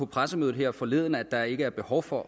pressemøde her forleden at der ikke er behov for